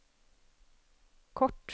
kort